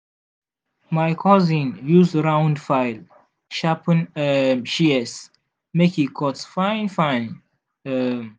my cousin use round file sharpen um shears make e cut fine-fine. um